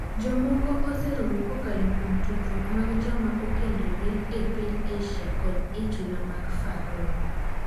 Jomoko oseromo kokalo kuom tudruok mag joma okendore e piny Asia kod e chula mag Faroe.